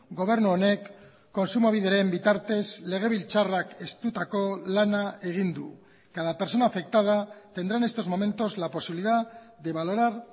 gobernu honek kontsumobideren bitartez legebiltzarrak estutako lana egin du cada persona afectada tendrá en estos momentos la posibilidad de valorar